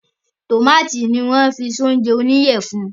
Tómátì ni wọ́n fi sí oúnjẹ oníyẹ funfun